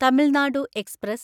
Tamil Nadu express